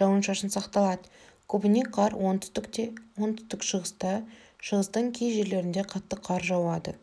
жауын-шашын сақталады көбіне қар оңтүстікте оңтүстік-шығыста шығыстың кей жерлерінде қатты қар жауады